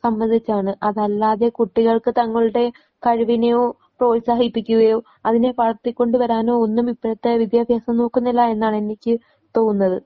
സംബന്ധിച്ചാണ്. അതല്ലാതെ കുട്ടികൾക്ക് തങ്ങളുടെ കഴിവിനെയോ പ്രോത്സാഹിപ്പിക്കുകയോ അതിനെ വളർത്തിക്കൊണ്ടുവരാനോ ഒന്നും ഇപ്പോഴത്തെ വിദ്യാഭ്യാസം നോക്കുന്നില്ല എന്നാണ് എനിക്ക് തോന്നുന്നത്.